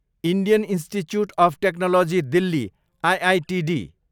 Indian institute of technology Delhi, IITD